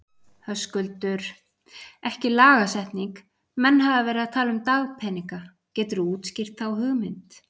Höskuldur: Ekki lagasetning, menn hafa verið að tala um dagpeninga, geturðu útskýrt þá hugmynd?